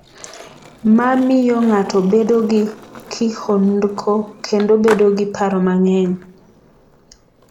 "Ma miyo ng'ato bedo gi kihondko kendo bedo gi paro mang'eny."""